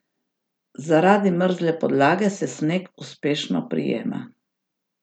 Zaradi mrzle podlage se sneg uspešno prijema.